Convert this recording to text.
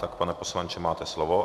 Tak, pane poslanče, máte slovo.